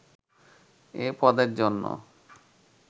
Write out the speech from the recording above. এ পদের জন্য